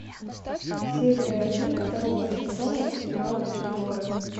серия один второго сезона сериала тюдоры